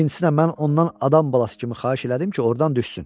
İkincisi də mən ondan adam balası kimi xahiş elədim ki, ordan düşsün.